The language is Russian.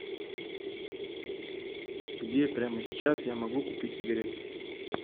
где прямо сейчас я могу купить сигареты